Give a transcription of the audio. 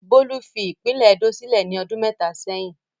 Bólú fi ìpínlẹ̀ Edó sílẹ̀ ní ọdún mẹ́ta sẹ́yìn.